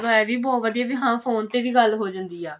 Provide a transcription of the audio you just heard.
ਇਹ ਵੀ ਬਹੁਤ ਵਧੀਆ ਵੀ ਫੋਨ ਤੇ ਵੀ ਗੱਲ ਹੋ ਜਾਂਦੀ ਆ